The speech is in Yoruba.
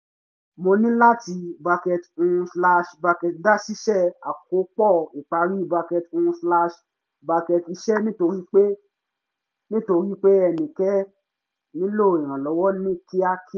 mo níláti bracket um slash bracket dá ṣíṣe àkópọ̀ ìparí bracket um slash bracket iṣẹ́ nítorí pé nítorí pé nítorí pé ẹnìkẹ́ nílò ìrànlọ́wọ́ ní kíákí